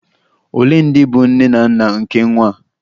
Ole ndị bụ nne na nna nke nwa a?